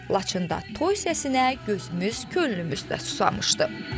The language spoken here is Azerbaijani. Laçında toy səsinə gözümüz, könlümüz də susamışdı.